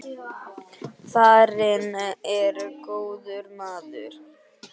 Farinn er góður maður.